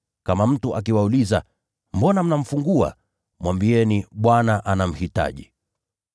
Kama mtu akiwauliza, ‘Mbona mnamfungua?’ Mwambieni, ‘Bwana anamhitaji.’ ”